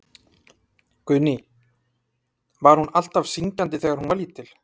Guðný: Var hún alltaf syngjandi þegar hún var lítil?